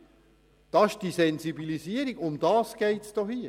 Das ist eben gerade die Sensibilisierung, um die es geht!